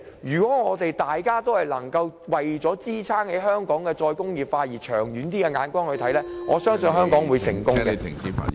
如果大家能夠為了香港的"再工業化"以長遠眼光做事，我相信香港會成功。